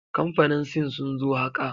Kamfanin sin sun zo haka.